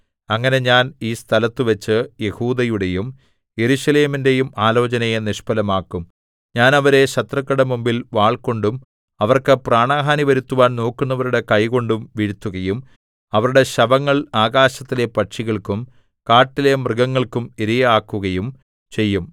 അങ്ങനെ ഞാൻ ഈ സ്ഥലത്തുവച്ച് യെഹൂദയുടെയും യെരൂശലേമിന്റെയും ആലോചനയെ നിഷ്ഫലമാക്കും ഞാൻ അവരെ ശത്രുക്കളുടെ മുമ്പിൽ വാൾകൊണ്ടും അവർക്ക് പ്രാണഹാനി വരുത്തുവാൻ നോക്കുന്നവരുടെ കൈകൊണ്ടും വീഴ്ത്തുകയും അവരുടെ ശവങ്ങൾ ആകാശത്തിലെ പക്ഷികൾക്കും കാട്ടിലെ മൃഗങ്ങൾക്കും ഇരയാക്കുകയും ചെയ്യും